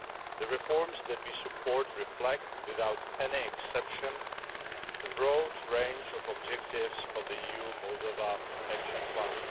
The reforms that we support reflect without any exception the broad range of objectives of the EU Moldova action plan.